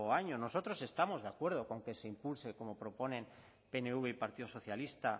años nosotros estamos de acuerdo con que se impulse como proponen pnv y partido socialista